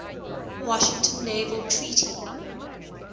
washington naval treaty